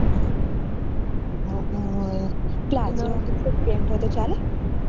હમ pant હોય તો ચાલે